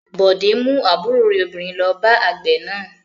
Bọ̀dé mú àbúrò rẹ̀ obìnrin lọ bá àgbẹ̀ náà.